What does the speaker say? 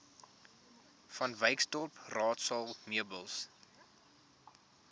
vanwyksdorp raadsaal meubels